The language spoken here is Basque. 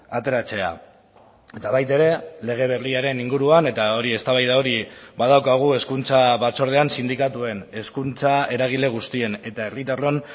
ateratzea eta baita ere lege berriaren inguruan eta hori eztabaida hori badaukagu hezkuntza batzordean sindikatuen hezkuntza eragile guztien eta herritarron